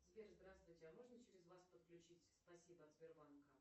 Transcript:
сбер здравствуйте а можно через вас подключить спасибо от сбербанка